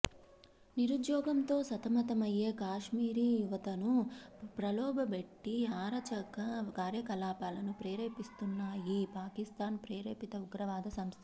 నిరుద్యోగంతో సతమతమయ్యే కాశ్మీరీ యువతను ప్రలోభపెట్టి అరాచక కార్యకలాపాలకు ప్రేరేపి ిస్తున్నాయి పాకిస్థాన్ ప్రేరేపిత ఉగ్రవాద సంస్థలు